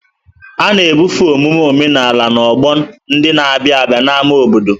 A na-ebufe omume omenala n'ọgbọ ndị na-abịa n'ámá obodo.